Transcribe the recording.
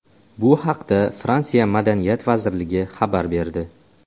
Bu haqda Fransiya Madaniyat vazirligi xabar berdi .